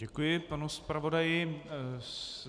Děkuji panu zpravodaji.